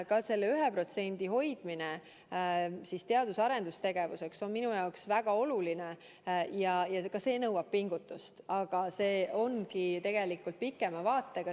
Ka selle 1% hoidmine teadus- ja arendustegevuseks on minu jaoks väga oluline ja ka see nõuab pingutust, aga see ongi tegelikult pikema vaatega.